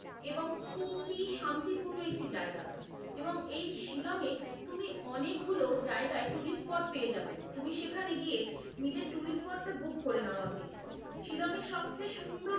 এবং খুবই শান্তিপূর্ণ একটি জায়গা এবং এই এই শিলংয়ে তুমি অনেকগুলো জায়গায় tourist spot পেয়ে যাবে, তুমি সেখানে গিয়ে নিজের tourist spot টা book করে নাও আগে। শিলংয়ে সবচেয়ে সুন্দর,